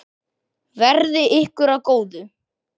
Verði ykkur að góðu.